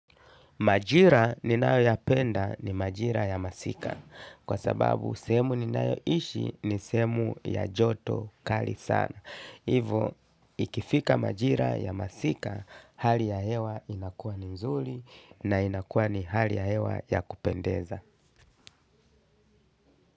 Majira ninayoyapenda ni majira ya masika. Kwa sababu, sehemu ninayoishi ni sehemu ya joto kali sana. Hivo, ikifika majira ya masika, hali ya hewa inakua ni mzuli na inakua ni hali ya hewa ya kupendeza.